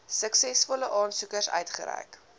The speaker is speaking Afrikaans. suksesvolle aansoekers uitgereik